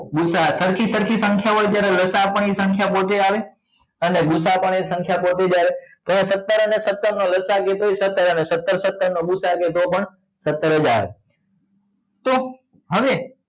ગુસા અ સરખી સરખી સંખ્યા હોય ત્યારે લસા અ પણ એ સંખ્યા પોતે આવે અને ગુસા અ પણ એ સંખ્યા પોતે જ આવે તો અહિયાં સત્તર અને સત્તર નો લસા અ સત્તર અને સત્તર સત્તર નો ગુ સા અ હશે તો પણ સત્તર જ આવે તો હવે